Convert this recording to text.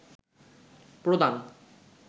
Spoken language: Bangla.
প্রদান